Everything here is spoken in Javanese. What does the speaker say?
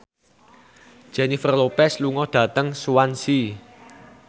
Jennifer Lopez lunga dhateng Swansea